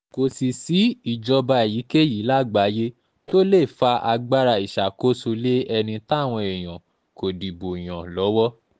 kò sì sí ìjọba èyíkéyìí lágbàáyé tó lè fa agbára ìṣàkóso lé ẹni táwọn èèyàn kò dìbò yàn lọ́wọ́